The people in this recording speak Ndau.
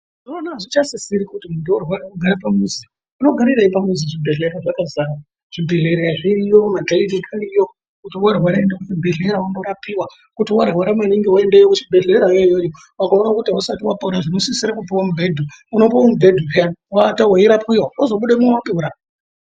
Ikozvino hazvichasisiri kuti mutorwa ugare pamusi, unogarirei pamusi zvibhedhlera zvakazara, zvibhedhlera zviriyo, makiriniki ariyo, ukange warwara unoenda kuchibhedhlera ondorapiwa, kuti warwara maningi unoenda kuchibhedhlera iyoyoyo, ukaona kuti hausati wapora unosisira kupiwa mubhedhu, unopiwa mubhedhu orara uchirapiwa ozobudemo wapora.